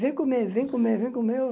Vem comer, vem comer, vem comer.